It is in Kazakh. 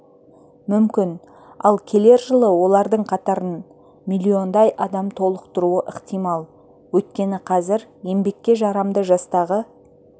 мүмкін ал келер жылы олардың қатарын миллиондай адам толықтыруы ықтимал өйткені қазір еңбекке жарамды жастағы